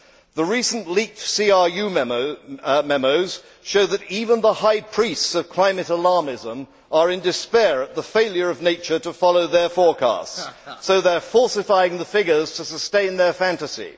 The recent leaked CRU memos show that even the high priests of climate alarmism are in despair at the failure of nature to follow their forecasts, so they are falsifying the figures to sustain their fantasy.